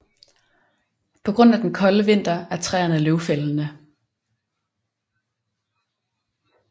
På grund af den kolde vinter er træerne løvfældende